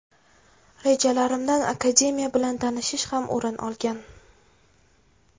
Rejalarimdan akademiya bilan tanishish ham o‘rin olgan.